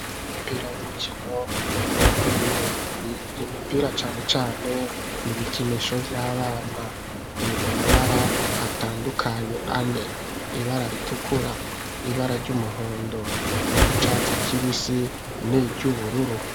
Imipira y'urukino rw'amaguru. Imipira cane cane ni ibikinisho vy'abana, iri mu mabara atandukanye ane: ibara ritukura, ibara ry'umuhondo, iry'icatsi kibisi niry'ubururu.